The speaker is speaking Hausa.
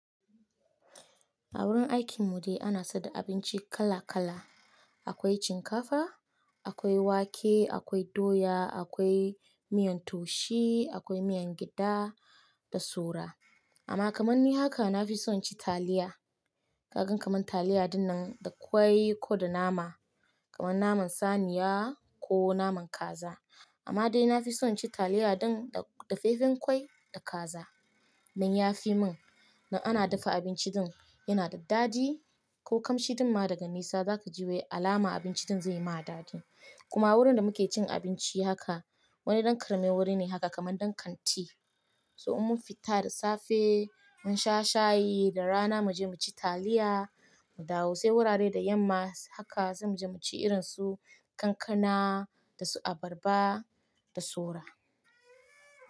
A wurin aikin mu dai ana saida abinci kala kala. Akwai shinkafa, akwai wake, akwai doya, akwai miyan taushe, akwai miyan gyaɗa da saura. Amma kamar ni haka na fi son cin taliya. Kaka kamar taliya dinnan da ƙwai ko da nama. Kamar naman saniya ko naman kaza. Amma dai na fi son cin taliya din da dafe fen ƙwai da kaza. Dan ya fi min, dan ana dafa abinci din yana da dadi. Ko kamshi din ma daga nesa za ka ji wai alama abinci din zai ma dadi. Kuma wurin da muke cin abinci haka wani ɗan ƙarame wuri ne haka kaman ɗan kanti. So in mun fita da safe mun sha shayi da rana mu je mu ci taliya mu dawo. Sai wurare da yamma haka zamu je mu ci irin su kankana da su abarba da saura.